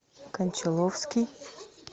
кончаловский